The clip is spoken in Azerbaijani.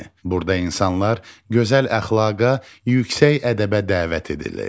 Burda insanlar gözəl əxlaqa, yüksək ədəbə dəvət edilir.